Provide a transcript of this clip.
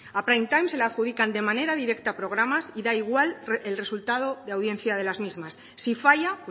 a prime time se le adjudican de manera directa programas y da igual el resultado de audiencia de las mismas si falla